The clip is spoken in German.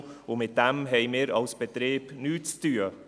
Und damit haben wir als Betrieb nichts zu tun.